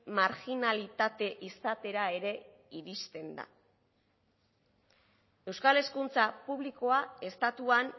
marginalitate izatera ere iristen da euskal hezkuntza publikoa estatuan